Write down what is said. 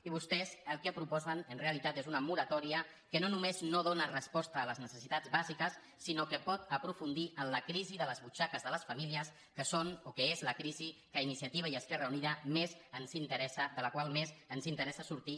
i vostès el que proposen en realitat és una moratòria que no només no dóna resposta a les necessitats bàsiques sinó que pot aprofundir en la crisi de les butxaques de les famílies que és la crisi que a iniciativa i a esquerra unida més ens interessa de la qual més ens interessa sortir